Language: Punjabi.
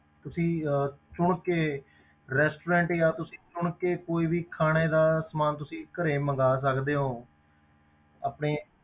ਤੁਸੀਂ ਅਹ ਚੁਣ ਕੇ restaurant ਜਾਂ ਤੁਸੀਂ ਚੁਣ ਕੇ ਕੋਈ ਵੀ ਖਾਣੇ ਦਾ ਸਮਾਨ ਤੁਸੀਂ ਘਰੇ ਮੰਗਵਾ ਸਕਦੇ ਹੋ ਆਪਣੇ